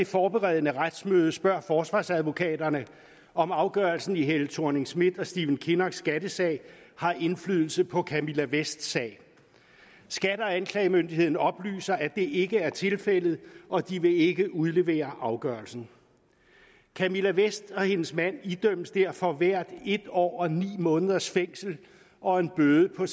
forberedende retsmøde spørger forsvarsadvokaterne om afgørelsen i helle thorning schmidt og stephen kinnocks skattesag har indflydelse på camilla vests sag skat og anklagemyndigheden oplyser at det ikke er tilfældet og at de ikke vil udlevere afgørelsen camilla vest og hendes mand idømmes derfor hver en år og ni måneders fængsel og en bøde på